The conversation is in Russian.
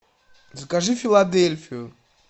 закажи филадельфию